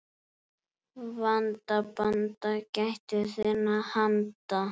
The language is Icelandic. Vanda, banda, gættu þinna handa.